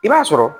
I b'a sɔrɔ